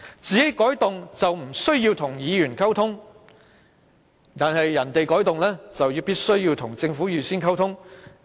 政府調動議程不用與議員溝通，議員要求作出調動卻必須與政府預先溝通。